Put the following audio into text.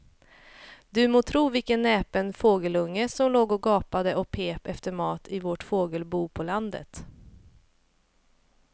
Du må tro vilken näpen fågelunge som låg och gapade och pep efter mat i vårt fågelbo på landet.